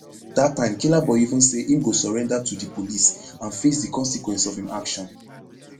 dat time killaboi even say im go surrender to di police and face di consequence of im action